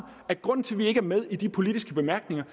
at grunden til at vi ikke er med i de politiske bemærkninger